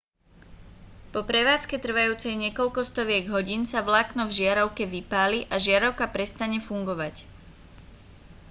po prevádzke trvajúcej niekoľko stoviek hodín sa vlákno v žiarovke vypáli a žiarovka prestane fungovať